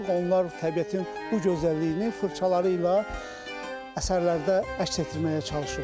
Onlar təbiətin bu gözəlliyini fırçaları ilə əsərlərdə əks etdirməyə çalışır.